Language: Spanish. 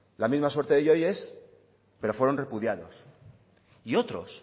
la misma suerte de yoyes pero fueron repudiados y otros